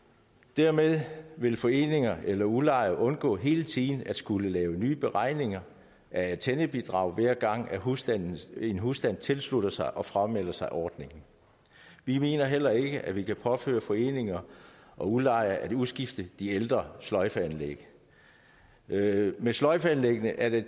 dermed vil foreninger eller udlejere undgå hele tiden at skulle lave nye beregninger af antennebidrag hver gang en husstand en husstand tilslutter sig og framelder sig ordningen vi mener heller ikke at man kan påføre foreninger og udlejere at udskifte de ældre sløjfeanlæg med sløjfeanlæggene er det